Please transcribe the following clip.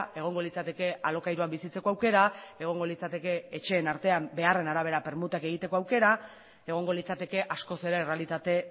egongo litzateke alokairuan bizitzeko aukera egongo litzateke etxeen artean beharren arabera permutak egiteko aukera egongo litzateke askoz ere errealitate